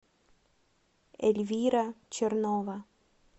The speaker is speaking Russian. эльвира чернова